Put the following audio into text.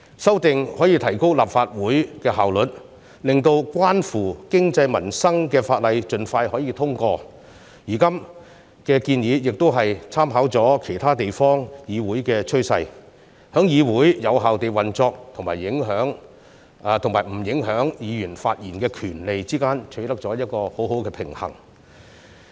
修訂可以提高立法會的效率，令關乎經濟民生的法例可以盡快通過，現在的建議亦已參考其他地方議會的趨勢，在議會有效運作，以及不影響議員發言權利之間取得很好的平衡。